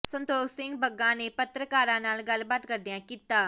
ਸੰਤੋਖ ਸਿੰਘ ਬੱਗਾ ਨੇ ਪੱਤਰਕਾਰਾਂ ਨਾਲ ਗੱਲਬਾਤ ਕਰਦਿਆ ਕੀਤਾ